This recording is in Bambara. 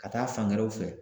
Ka taa fan wɛrɛw fɛ